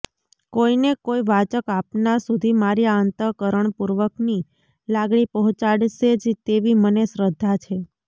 કોઇને કોઇ વાચક આપના સુધી મારી આ અંતઃકરણપૂર્વકની લાગણી પહોંચાડશે જ તેવી મને શ્રદ્ધા છે